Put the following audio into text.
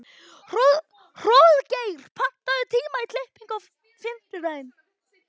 Hróðgeir, pantaðu tíma í klippingu á fimmtudaginn.